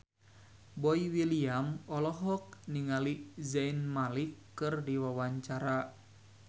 Boy William olohok ningali Zayn Malik keur diwawancara